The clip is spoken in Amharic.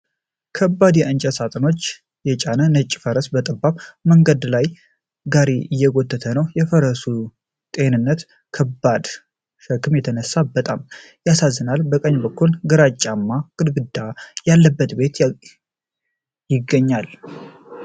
ከባድ የእንጨት ሳጥኖችን የጫነ ነጭ ፈረስ በጠባብ የመንደር መንገድ ላይ ጋሪ እየጎተተ ነው። የፈረሱ ጤንነት ከዚህ ከባድ ሸክም የተነሳ በጣም ያሳስባል። በቀኝ በኩል ግራጫማ ግድግዳ ያለበት ቤት ይገኛል።